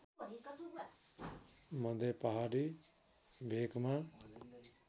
मध्य पहाडी भेकमा